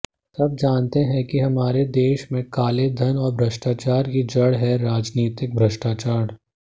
सब जानते हैं कि हमारे देश में कालेधन और भ्रष्टाचार की जड़ है राजनीतिक भ्रष्टाचार